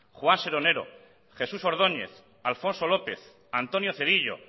juan seronero jesús ordóñez alfonso lópez antonio cedillo